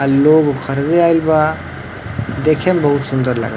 आ ई लोग घरवे आइल बा। देखे में बहोत सुन्दर ला --